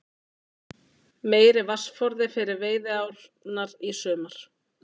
Meiri vatnsforði fyrir veiðiárnar í sumar